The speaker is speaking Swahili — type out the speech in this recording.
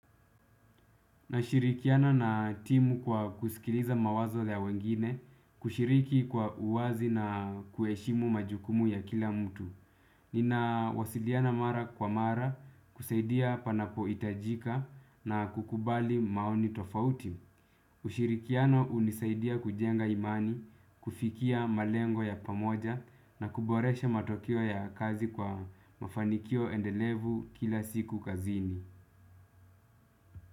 Nashirikiana na timu kwa kusikiliza mawazo ya wengine, kushiriki kwa uwazi na kuheshimu majukumu ya kila mtu. Nina wasiliana mara kwa mara, kusaidia panapo hitajika na kukubali maoni tofauti. Kushirikiana hunisaidia kujenga imani, kufikia malengo ya pamoja na kuboresha matokeo ya kazi kwa mafanikio endelevu kila siku kazini.